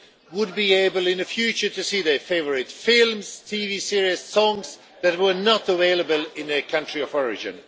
would be able in the future to see their favourite films, TV series and songs that were not available in their country of origin.